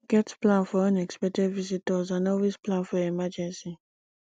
get plan for unexpected visitors and always plan for emergency